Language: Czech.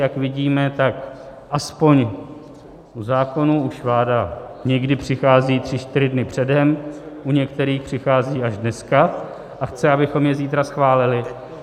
Jak vidíme, tak aspoň u zákonů už vláda někdy přichází tři čtyři dny předem, u některých přichází až dneska a chce, abychom je zítra schválili.